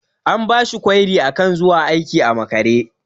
An bashi kwairi akan zuwa aiki a makare.